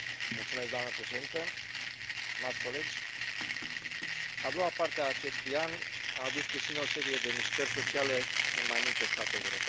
Doamnă președintă, stimați colegi, a doua parte a acestui an a adus cu sine o serie de mișcări sociale în mai multe state europene.